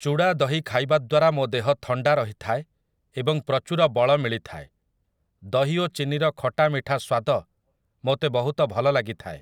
ଚୁଡ଼ା ଦହି ଖାଇବା ଦ୍ୱାରା ମୋ ଦେହ ଥଣ୍ଡା ରହିଥାଏ ଏବଂ ପ୍ରଚୁର ବଳ ମିଳିଥାଏ । ଦହି ଓ ଚିନିର ଖଟା ମିଠା ସ୍ୱାଦ ମୋତେ ବହୁତ ଭଲ ଲାଗିଥାଏ ।